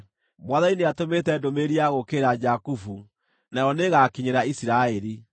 Mwathani nĩatũmĩte ndũmĩrĩri ya gũũkĩrĩra Jakubu; nayo nĩĩgakinyĩra Isiraeli.